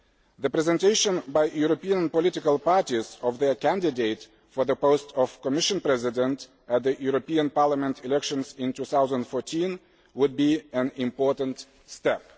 The presentation by European political parties of their candidate for the post of Commission President at the European Parliament elections in 2014 would be an important step.